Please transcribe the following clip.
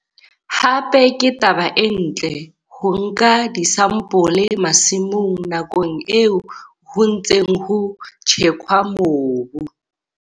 Hape ke taba e ntle ho nka disampole masimong nakong eo ho ntseng ho tjhekwa mobu.